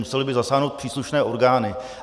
Musely by zasáhnout příslušné orgány.